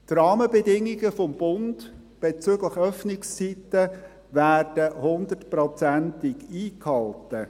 Die Rahmenbedingungen des Bundes bezüglich Öffnungszeiten werden hundertprozentig eingehalten.